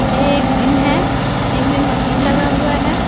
यह एक जिम है। जिम में मशीन लगा हुआ है।